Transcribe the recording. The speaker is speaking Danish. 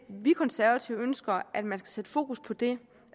vi konservative ønsker at man skal sætte fokus på det